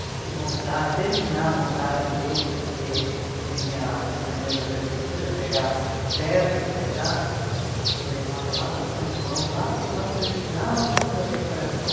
de se montar, terminar a montagem dele porque vinha os caminhões da prefeitura pegar as peças, os pedaços e levava lá para São João, lá que nós terminávamos a decoração.